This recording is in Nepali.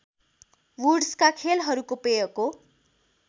वुड्सका खेलहरूको पेयको